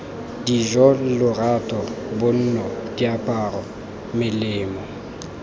dijo lorato bonno diaparo melemo